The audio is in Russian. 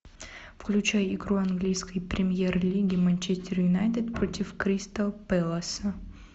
включай игру английской премьер лиги манчестер юнайтед против кристал пэласа